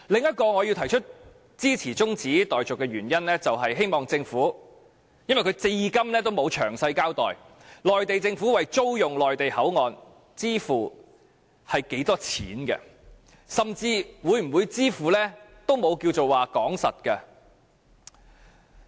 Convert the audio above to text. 我支持議案中止待續的另一原因，是政府至今仍沒有詳細交代內地政府會為租用口岸支付多少錢，甚至連會否支付也沒有定案。